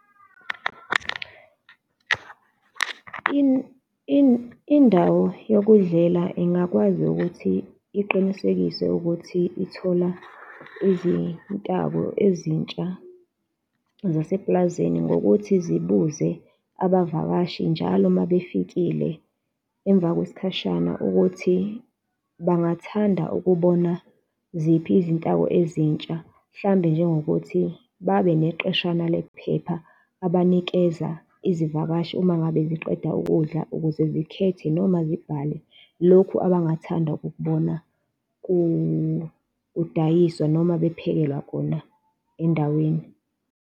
Indawo yokudlela ingakwazi ukuthi iqinisekise ukuthi ithola izintako ezintsha zaseplazini ngokuthi zibuze abavakashi njalo uma befikile emva kwesikhashana ukuthi bangathanda ukubona ziphi izintako ezintsha. Mhlawumbe njengokuthi babe neqeshana lephepha abanikeza izivakashi uma ngabe ziqeda ukudla ukuze zikhethe noma zibhale lokhu abangathanda ukukubona kudayiswa noma bephekelwa kona endaweni.